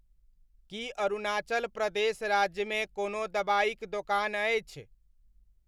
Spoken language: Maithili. की अरुणाचल प्रदेश राज्यमे कोनो दबाइक दोकान अछि?